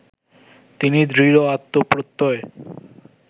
তিনি দৃঢ় আত্মপ্রত্যয়